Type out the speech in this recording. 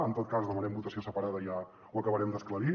en tot cas demanem votació separada i ja ho acabarem d’esclarir